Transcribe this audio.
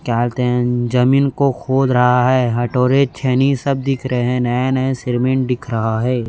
जमीन को खोद रहा है हथौरे छेनी सब दिख रहे हैं नए नए सिरमेंट दिख रहा है।